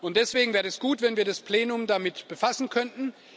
Deswegen wäre es gut, wenn wir das Plenum damit befassen könnten.